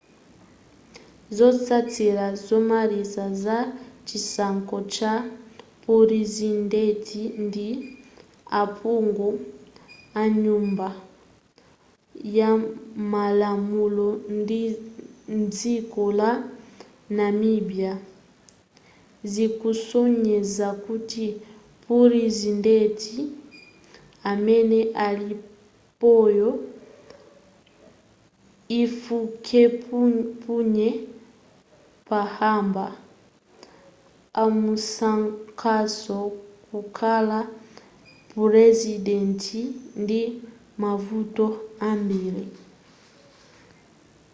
zotsatira zomaliza za chisankho cha purezidenti ndi aphungu anyumba yamalamulo mdziko la namibia zikusonyeza kuti purezidenti amene alipoyo hifikepunye pohamba amusankhanso kukhala purezidenti ndi mavoti ambiri